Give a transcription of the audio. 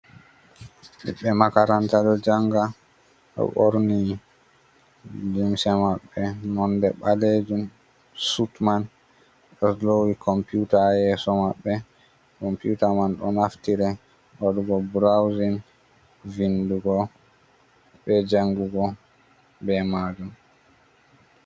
Ɓiɓbe makaranta ɗo janga, ɗo ɓorni limse maɓɓe nonde ɓalejum suit man, ɗo lowi computer ha yeso maɓɓe. Computar man do naftire waɗugo browsing, vindugo, be jangugo be majum.